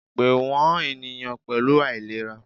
Pe wọn eniyan pẹlu ailera!